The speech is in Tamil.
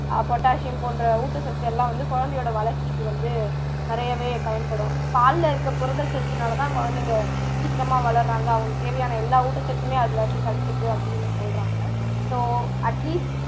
potassium போன்ற ஊட்டச்சத்து எல்லாம் வந்து குழந்தையோட வளர்ச்சிக்கு வந்து நிறையவே பயன்படும் பால்ல இருக்க புரதச்சத்துனால தான் குழந்தைங்க சீக்கிரமா வளருறாங்க அவங்களுக்கு தேவையான ஊட்டச்சத்துமே அதுல இருந்து கிடைச்சுருது அப்படின்னு சொல்றாங்க so atleast